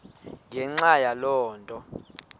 ngenxa yaloo nto